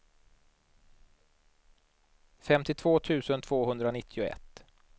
femtiotvå tusen tvåhundranittioett